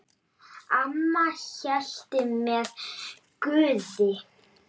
Amma hélt með Guði.